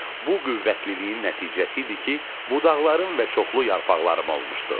Bu qüvvətliliyin nəticəsi idi ki, budaqların və çoxlu yarpaqlarım olmuşdu.